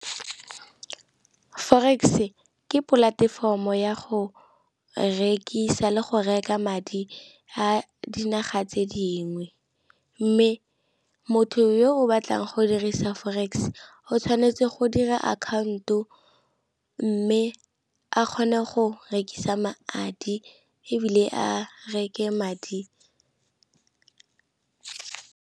Forex ke polatefomo ya go rekisa le go reka madi a dinaga tse dingwe, mme motho yo o batlang go dirisa forex o tshwanetse go dira akhaonto mme a kgone go rekisa madi ebile a reke madi.